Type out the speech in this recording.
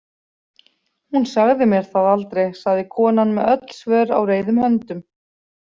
Hún sagði mér það aldrei, sagði konan með öll svör á reiðum höndum.